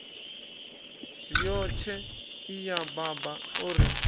riotshe iya baba o ri